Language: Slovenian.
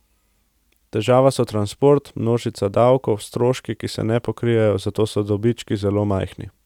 Težava so transport, množica davkov, stroški, ki se ne pokrijejo, zato so dobički zelo majhni.